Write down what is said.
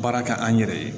Baara kɛ an yɛrɛ ye